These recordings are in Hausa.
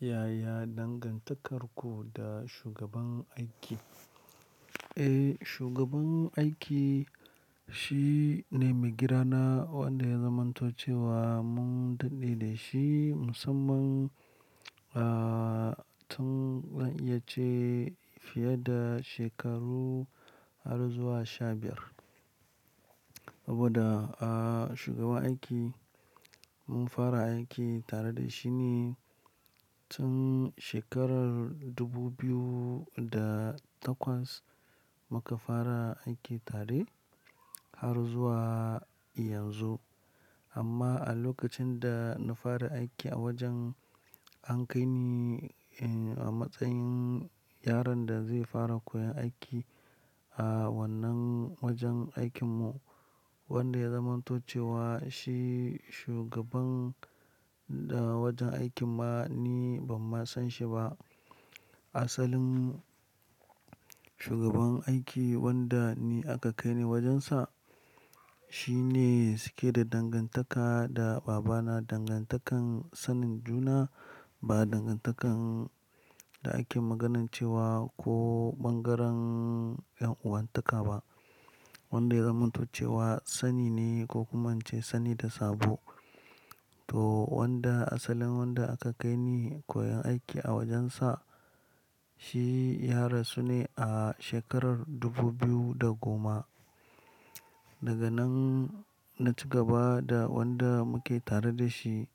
Yaya dangantakarku da shugaban aiki? Eh, shugaban aiki shi ne maigidana wanda ya zamanto cewa mun dadde da shi musamman, ah, tun zan iya ce fiye da shekaru har zuwa sha biyar. Saboda, ah, shugaban aiki mun fara aiki tare da shi ne tun shekarar dubu biyu da takwas muka fara aiki tare har zuwa yanzu. Amma a lokacin da na fara aiki a wajen an kai ni, eh, a matsayin yaron da zai fara koyan aiki a wannan wajen aikin mu wanda ya zamanto cewa shi shugaban da wajen aikin ma ni ban ma san shi ba. Asalin shugaban aiki wanda ni aka kai ni wajensa shi ne suke da dangantaka da babana, dangantakan sanin juna ba dangantakan da ake magana cewa ko bangaren 'yan uwantaka ba. Wanda ya zamanto cewa sani ne ko kuma an ce sani da sabo. To wanda asalin wanda aka kai ni koyan aiki a wajensa shi ya rasu ne a shekarar dubu biyu da goma. Daga nan na ci gaba da wanda muke tare da shi,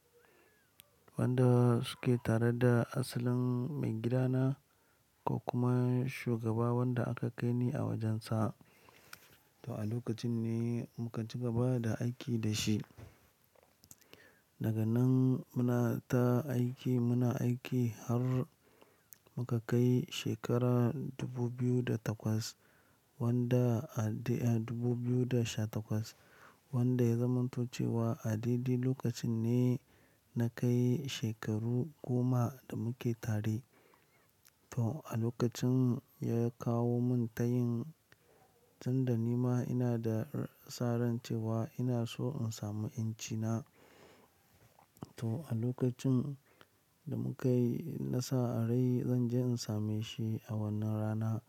wanda suke tare da asalin maigidana ko kuma shugaba wanda aka kai ni a wajensa. To a lokacin ne muka ci gaba da aiki da shi. Daga nan muna ta aiki, muna aiki har muka kai shekara dubu biyu da takwas wanda, ah, dubu biyu da sha takwas wanda ya zamanto cewa a daidai lokacin ne na kai shekaru goma da muke tare. To a lokacin ya kawo mun tayin tun da nima ina da saran cewa ina so in samu ƴanci na. To a lokacin da muka yi nasa arai zan je in same shi a wannan rana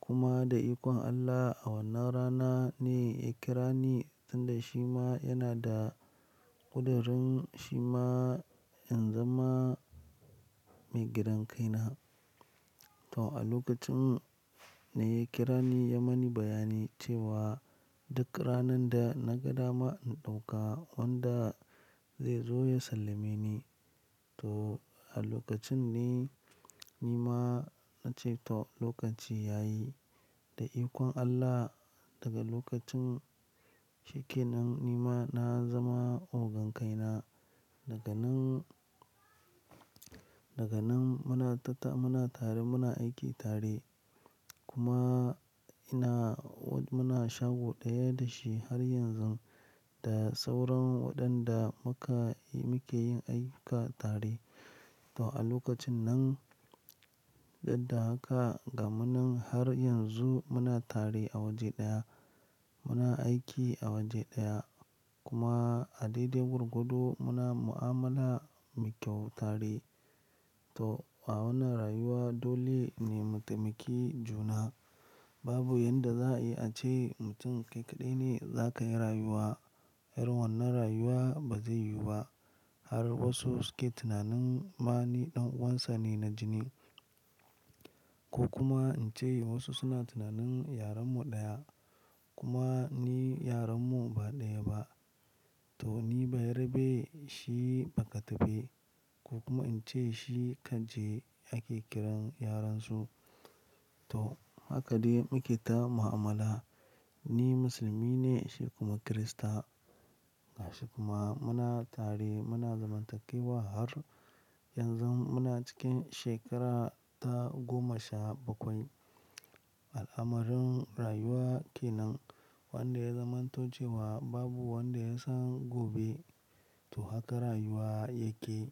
kuma da ikon Allah a wannan rana ne ya kira ni tunda shi ma yana da ƙudurin shi ma in zama maigidan kai na. To a lokacin ne ya kira ni ya mani bayani cewa duk ranar da na ga dama in ɗauka wanda zai zo ya sallame ni. To a lokacin ne nima na ce to lokaci ya yi. Da ikon Allah daga lokacin cikin nan nima na zama ogan kai na. Daga nan, daga nan muna ta, muna tare muna aiki tare kuma ina muna shago ɗaya da shi har yanzu da sauran waɗanda muka, muke yin aiki tare. To a lokacin nan dadda haka gamunnan har yanzu muna tare a waje ɗaya, muna aiki a waje ɗaya kuma a dai dai gwargwado muna mu'amala mai kyau tare. To a wannan rayuwa dole ne mutaimaki juna. Babu yadda za a ce mutum kai kaɗai ne za ka yi rayuwa. Irin wannan rayuwa ba zai yiwu ba har wasu suke tunanin ma ni ɗan uwansa ne na jini ko kuma in ce wasu suna tunanin yaron mu ɗaya kuma ni yaran mu ba ɗaya ba. To ni bayerabe shi bakatafe ko kuma in ce shi kanje ake kiran yaran su. To haka de muke ta mu'amala. Ni musulmi ne shi kuma kirista. Haka kuma muna tare muna zamantakkewa har yanzu muna cikin shekara ta goma sha bakwai. Al'amarin rayuwa kenan wanda ya zamanto cewa babu wanda ya san gobe. To haka rayuwa yake.